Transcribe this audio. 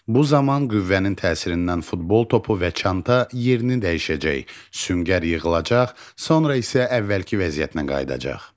Bu zaman qüvvənin təsirindən futbol topu və çanta yerini dəyişəcək, süngər yığılacaq, sonra isə əvvəlki vəziyyətinə qayıdacaq.